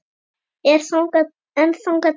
En þangað til?